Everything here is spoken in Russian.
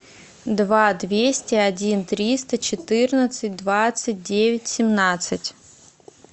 два двести один триста четырнадцать двадцать девять семнадцать